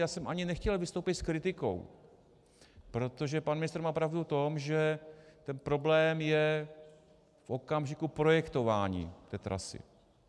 Já jsem ani nechtěl vystoupit s kritikou, protože pan ministr má pravdu v tom, že ten problém je v okamžiku projektování té trasy.